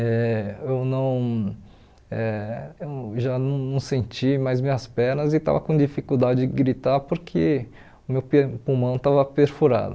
Eh eu não eh eu já não senti mais minhas pernas e estava com dificuldade de gritar porque o meu per pulmão estava perfurado.